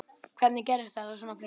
Hvernig gerðist það svona fljótt?